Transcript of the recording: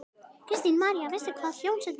Kristín María: Veistu hvað hljómsveitin heitir?